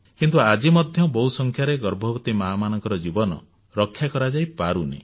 କିନ୍ତୁ ଆଜି ମଧ୍ୟ ବହୁ ସଂଖ୍ୟାରେ ଗର୍ଭବତୀ ମାଆମାନଙ୍କର ଜୀବନ ରକ୍ଷା କରାଯାଇପାରୁନାହିଁ